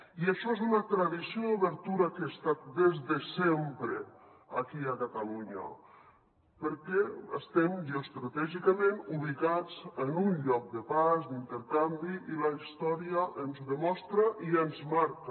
i això és una tradició d’obertura que ha estat des de sempre aquí a catalunya perquè estem geoestratègicament ubicats en un lloc de pas d’intercanvi i la història ens ho demostra i ens marca